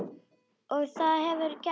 Og það hefurðu gert.